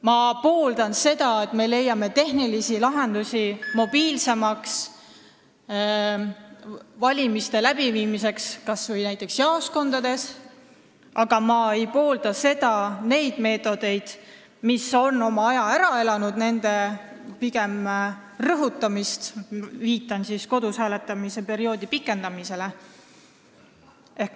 Ma pooldan seda, et me leiame tehnilisi lahendusi valimiste mobiilsemaks läbiviimiseks kas või näiteks jaoskondades, aga ma ei poolda nende meetodite rõhutamist, mis on oma aja ära elanud .